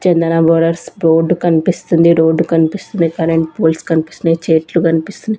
చందన brothers board కనిపిస్తుంది road కనిపిస్తుంది current poles కనిపిస్తున్నాయి చెట్లు కనిపిస్తున్నాయి.